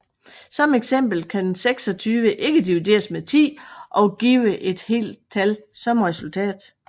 Som eksempel kan 26 ikke divideres med 10 og give et helt tal som resultat